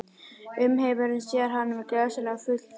Umheimurinn sér hana sem glæsilegan fulltrúa